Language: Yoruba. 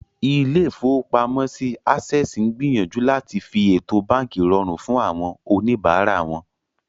Ilé-ìfowópamọ́sí Access ń gbìyànjú láti fi ètò báànkì rọrùn fún àwọn oníbàárà wọn